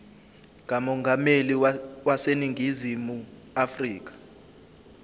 kamongameli waseningizimu afrika